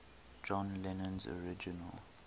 john lennon's original